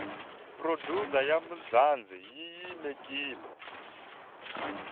producer ya mzanzi yinyikiwile